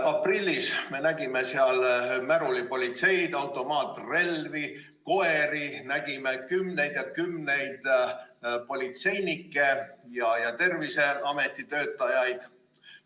Aprillis me nägime märulipolitseid, automaatrelvi, koeri, nägime kümneid ja kümneid politseinikke ja Terviseameti töötajaid.